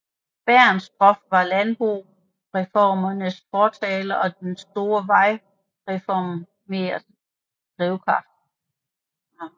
Bernstorff var landboreformernes fortaler og de store vejreformers drivkraft